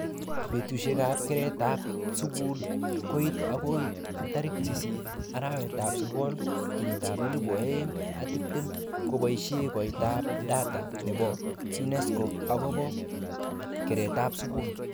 Betushekab keretab skul koit akoi 8 arawetab sokol,2020,kobishe koiteab data nebo UNESCO akobo keretab skul